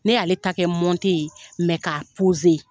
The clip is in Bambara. Ne y'ale ta kɛ ye mɛ k'a